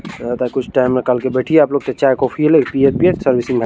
कुछ टाइम में कल के बैठिये आप लोग ते चाय-कॉफ़ी लेक पीय-पीय सब इसी में --